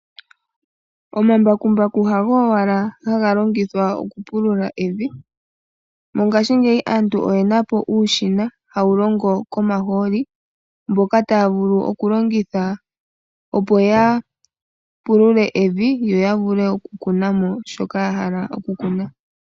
Omambakumbaku hago owala haga longithwa oku pulula evi. Mongashingeyi aantu oyena po uushina hawu longo komahooli. Mboka taya vulu oku longitha opo ya pulule evi yo ya vule oku kuna shoka yahala oku kuna.